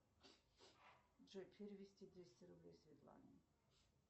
джой перевести двести рублей светлане